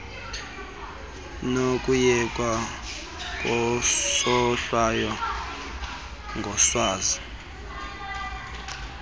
nokuyekwa kwesohlwayo ngoswazi